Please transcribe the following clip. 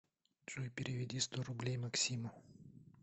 джой переведи сто рублей максиму